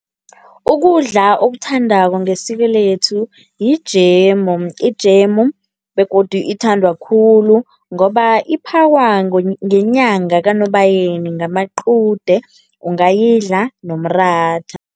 Ukudla okuthandako ngesiko lethu yijemu, ijemu begodu ithandwa khulu ngoba iphakwa ngenyanga kaNobayeni ngamaqude, ungayidla nomratha.